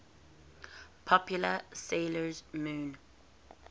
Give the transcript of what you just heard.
popular 'sailor moon